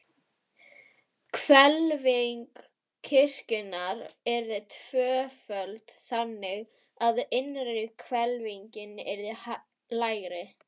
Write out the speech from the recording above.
Hvelfing kirkjunnar yrði tvöföld, þannig, að innri hvelfingin yrði lægri.